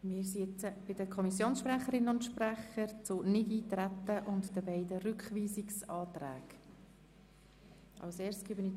Wir kommen nun zu den Kommissionssprecherinnen und -sprechern zum Nichteintretensantrag und zu den beiden Rückweisungsanträgen.